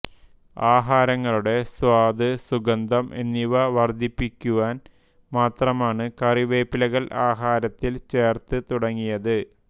ആഹാരങ്ങളുടെ സ്വാദ് സുഗന്ധം എന്നിവ വർദ്ധിപ്പിക്കുവാൻ മാത്രമാണ് കറിവേപ്പിലകൾ ആഹാരത്തിൽ ചേർത്ത് തുടങ്ങിയത്